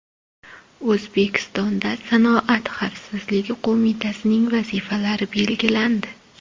O‘zbekistonda Sanoat xavfsizligi qo‘mitasining vazifalari belgilandi.